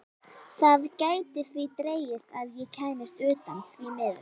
Það gæti því dregist að ég kæmist utan, því miður.